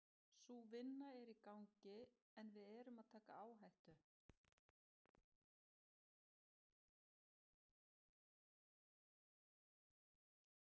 Sú vinna er í gangi en við erum að taka áhættu.